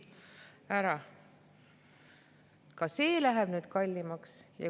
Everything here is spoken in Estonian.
Ka läheb nüüd kallimaks.